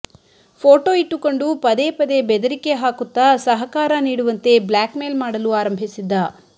photo ಇಟ್ಟುಕೊಂಡು ಪದೇ ಪದೇ ಬೆದರಿಕೆ ಹಾಕುತ್ತ ಸಹಕಾರ ನೀಡುವಂತೆ ಬ್ಲಾಕ್ ಮೇಲ್ ಮಾಡಲು ಆರಂಭಿಸಿದ್ದ